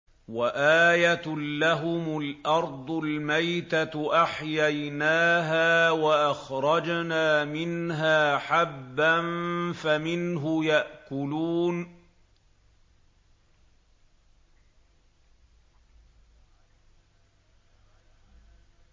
وَآيَةٌ لَّهُمُ الْأَرْضُ الْمَيْتَةُ أَحْيَيْنَاهَا وَأَخْرَجْنَا مِنْهَا حَبًّا فَمِنْهُ يَأْكُلُونَ